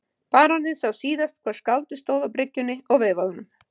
Baróninn sá síðast hvar skáldið stóð á bryggjunni og veifaði honum.